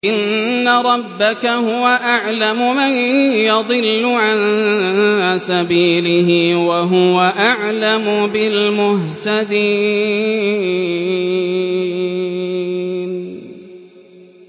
إِنَّ رَبَّكَ هُوَ أَعْلَمُ مَن يَضِلُّ عَن سَبِيلِهِ ۖ وَهُوَ أَعْلَمُ بِالْمُهْتَدِينَ